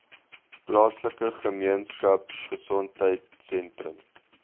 plaaslike gemeenskapgesondheid sentrum